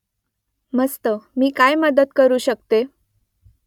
मस्त मी काय मदत करू शकतो ?